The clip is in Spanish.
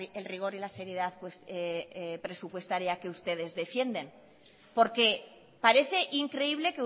el rigor y la seriedad presupuestaria que ustedes defienden porque parece increíble